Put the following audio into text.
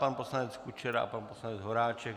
Pan poslanec Kučera a pan poslanec Horáček.